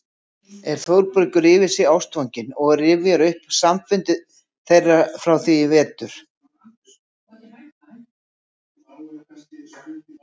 er Þórbergur yfir sig ástfanginn og rifjar upp samfundi þeirra frá því í vetur og